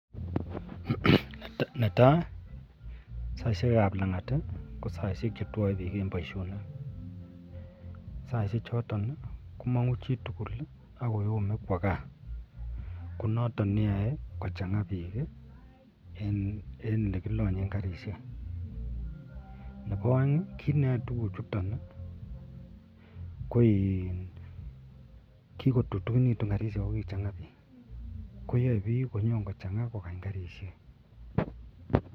?netai ko saishek ab langatkosaishek chetwae bik en Baishonik saishek choton komangu chitugul akoyome Kwa gaa konoton neyae kochanga bik en olekilanyen karishek Nebo aeng kit neyae tuguk chuton kikotutikinitun karishek akochanga bik koyae bik kochanga kokany karishek.